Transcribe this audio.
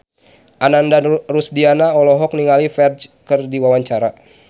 Ananda Rusdiana olohok ningali Ferdge keur diwawancara